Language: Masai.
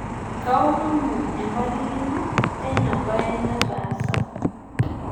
kaomonu empalikino teina bae nataasa